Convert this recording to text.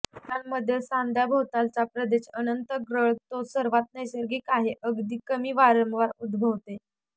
मुलांमध्ये सांध्याभोवतालचा प्रदेश अन्तर्गळ तो सर्वात नैसर्गिक आहे अगदी कमी वारंवार उद्भवते